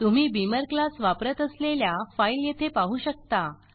तुम्ही Beamer class वापरत असलेल्या फाइल येथे पाहु शकता